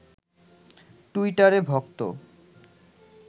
টুইটারে ভক্ত